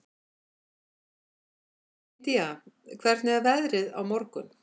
Indía, hvernig er veðrið á morgun?